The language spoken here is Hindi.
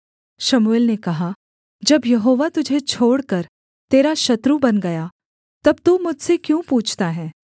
शमूएल ने कहा जब यहोवा तुझे छोड़कर तेरा शत्रु बन गया तब तू मुझसे क्यों पूछता है